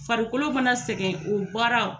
Farikolo fana sɛgɛn o baara o